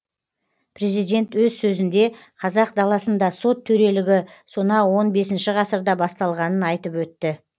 президент өз сөзінде қазақ даласында сот төрелігі сонау он бесінші ғасырда басталғанын айтып өтті